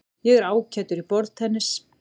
Ég er ágætur í borðtennis.